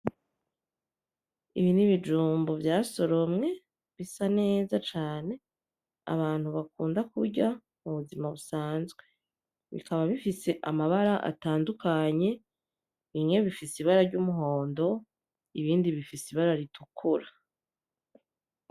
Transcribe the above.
Ibi nibijumbu vyasoromwe bisa neza cane abantu bakunda kurya mubuzima busanzwe bikaba bifise amabara atandukanye bimwe bifise ibara ry'umuhondo ibindi bifise ibara ritukura.